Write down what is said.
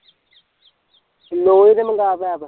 ਲੋਹੇ ਦੇ ਮਗਾ ਪੈਪ